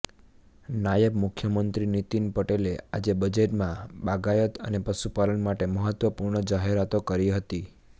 નાયબ મુખ્યમંત્રી નીતિન પટેલે આજે બજેટમાં બાગાયત અને પશુપાલન માટે મહત્વપૂર્ણ જાહેરાતો કરી હતી